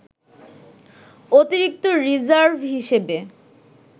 অতিরিক্ত রিজার্ভ হিসেবে